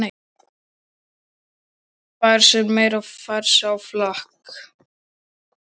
Fær sér meira og fer aftur á flakk.